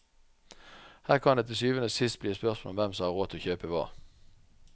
Her kan det til syvende og sist bli et spørsmål om hvem som har råd til å kjøpe hva.